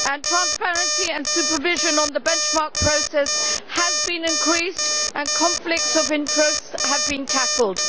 Transparency and supervision on the benchmark process have been increased, and conflicts of interest have been tackled.